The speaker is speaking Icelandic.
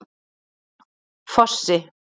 Fossi